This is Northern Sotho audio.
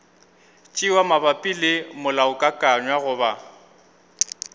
tšewa mabapi le molaokakanywa goba